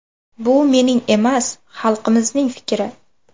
Bu mening emas, xalqimizning fikri.